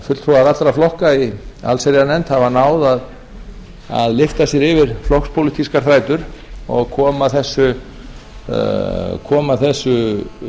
fulltrúar allra flokka í allsherjarnefnd hafa náð að lyfta sér yfir flokkspólitískar þrætur og koma þessu